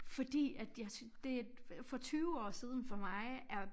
Fordi at jeg det for 20 år siden for mig er